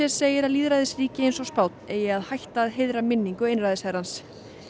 segir að lýðræðisríki eins og Spánn eigi að hætta að heiðra minningu einræðisherrans